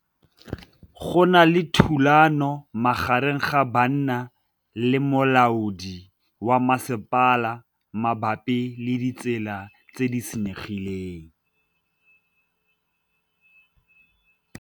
Go na le thulanô magareng ga banna le molaodi wa masepala mabapi le ditsela tse di senyegileng.